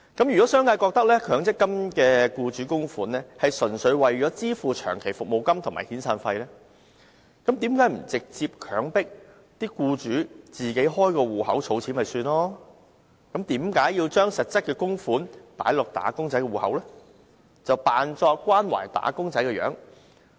如果商界覺得強積金的僱主供款，純粹是為支付長期服務金和遣散費，那為何不直接強制僱主自行開設戶口儲蓄？為何硬要把供款放進"打工仔"的強積金戶口，假裝關懷"打工仔"？